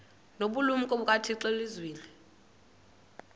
nobulumko bukathixo elizwini